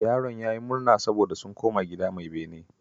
Yaron ya yi murna saboda sun koma gida mai bene